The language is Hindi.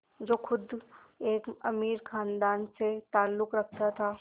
जो ख़ुद एक अमीर ख़ानदान से ताल्लुक़ रखता था